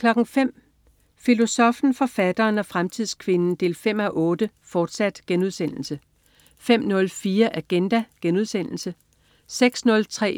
05.00 Filosoffen, forfatteren og fremtidskvinden 5:8, fortsat* 05.04 Agenda* 06.03